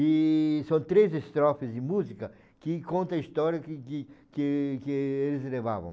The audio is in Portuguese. E são três estrofes de música que conta a história que de que que eles levavam.